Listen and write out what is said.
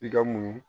I ka muɲu